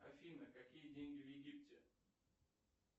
афина какие деньги в египте